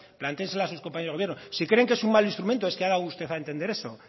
plantéeselas a sus compañeros de gobierno si creen que es un mal instrumento es que ha dado usted a entender eso